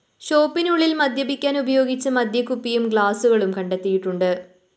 ഷോപ്പിനുള്ളില്‍ മദ്യപിക്കാന്‍ ഉപയോഗിച്ച മദ്യക്കുപ്പിയും ഗ്ലാസുകളും കണ്ടെടുത്തിട്ടുണ്ട്